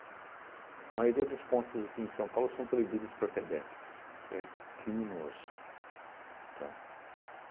A maioria das pontes aqui em São Paulo são proibidas para pedestres, que é criminoso, tá?